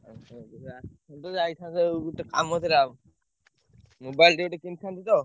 ସଉଦା ଗୋଟେ ଯାଇଥାନ୍ତି ଏଇ ଗୋଟେ କାମ ଥିଲା। mobile ଟେ ଗୋଟେ କିଣିଥାନ୍ତି ତ।